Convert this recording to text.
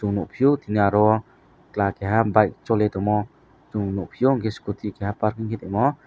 nugfio tini oro o chwla keha bike choli tongo chung nugfio enke scooty keha parking ke tongo.